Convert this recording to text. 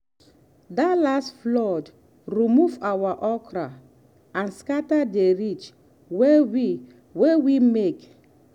that last flood remove our okra and scatter the ridge wey we wey we make.